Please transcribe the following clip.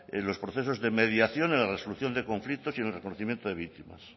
los procesos de mediación en las resolución de conflicto y en reconocimiento de víctimas